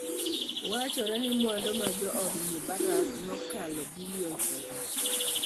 Wachore ni mwandu mar jood Mubarak ne okalo bilion prabich.